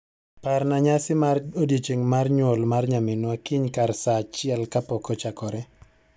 Parna nyasi mar odiechieng' mar nyuol mar nyaminwa kiny kar saa achiel kapok ochakore